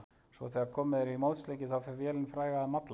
Svo þegar komið er í mótsleiki þá fer vélin fræga að malla.